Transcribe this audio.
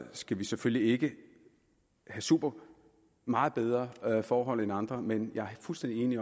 skal vi selvfølgelig ikke have super meget bedre forhold end andre men jeg er fuldstændig enig i